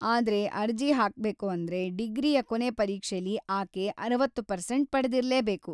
ಆದ್ರೆ ಅರ್ಜಿ ಹಾಕ್ಬೇಕು ಅಂದ್ರೆ, ಡಿಗ್ರಿಯ ಕೊನೆ ಪರೀಕ್ಷೆಲಿ ಆಕೆ ಅರವತ್ತು ಪರ್ಸೆಂಟ್‌ ಪಡೆದಿರ್ಲೇಬೇಕು.